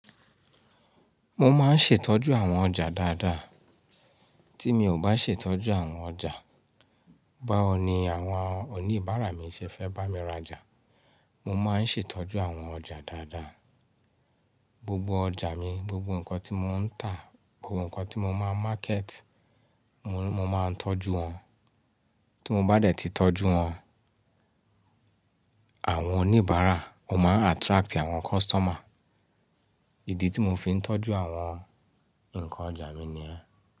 Mo máa ń ṣètọ́jú àwọn ọjà dáadáa, tí mi ò bá ṣètọ́jú àwọn ọjà, báwo ni àwọn oníbàárà mi ṣe fẹ́ bá mi rajà? Mo máa ń ṣètọ́jú àwọn ọjà dáadáa, gbogbo ọjà mi, gbogbo nǹkan tí mò ń tà, gbogbo nǹkan tí mo máa ń market, mo, mo máa ń tọ́jú wọn. Tí mo bá dẹ̀ ti tọ́jú wọn, àwọn oníbàárà, ó máa n attract àwọn customer. Ìdí tí mò fi ń tọ́jú àwọn ǹkan ọjà mi ni ẹ́.